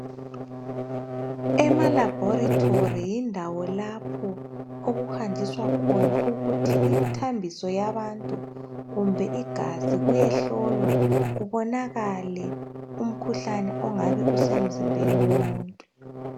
Ema laboratory yindawo lapho okuhanjiswa khona umthambiso yabantu kumbe igazi ukuze kubonakale umkhuhlane ongabe usemzimbeni womuntu